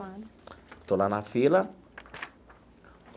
Estou lá na fila.